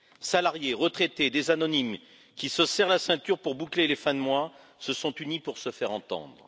Salariés, retraités, des anonymes qui se serrent la ceinture pour boucler les fins de mois se sont unis pour se faire entendre.